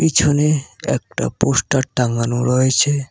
পিছনে একটা পোস্টার টাঙানো রয়েছে।